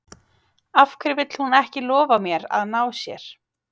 Af hverju vill hún ekki lofa mér að ná sér?